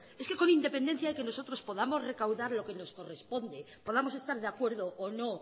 es que con independencia de que nosotros podamos recaudar lo que nos corresponde podamos estar de acuerdo o no